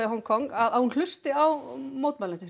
Hong Kong að hún hlusti á mótmælendur